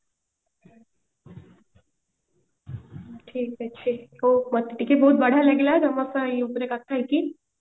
ଠିକ ଅଛି ହୋଉ ମତେ ଟିକେ ବଢିଆ ଲାଗିଲା ତମ ସହ ଏଇ ଉପରେ କଥା ହେଇକି